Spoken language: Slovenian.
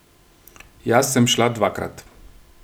Jaz sem šla dvakrat.